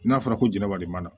N'a fɔra ko jɛnɛba de b'a la